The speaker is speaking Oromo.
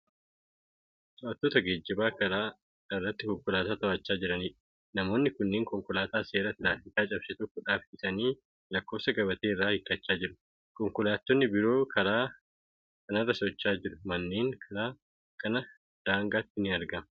To'attoota geejjibaa karaa irratti konkolaataa to'achaa jiraniidha. Namoonni kunniin konkolaataa seera tiraafikaa cabse tokko dhaabsisanii lakkoofsa gabatee irraa hiikkachaa jiru. konkolaattonni biroo karaa kanarra socho'aa jiru. manneen karaa Kana daangaatti ni argama.